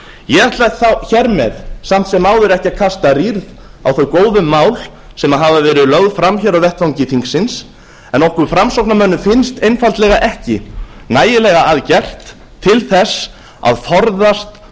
ég ætla hér með samt sem áður ekki að kasta rýrð á þau góðu mál sem hafa verið lögð fram hér á vettvangi þingsins en okkur framsóknarmönnum finnst einfaldlega ekki nægilega að gert til þess að forðast